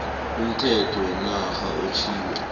umthetho wenarha otjhiwo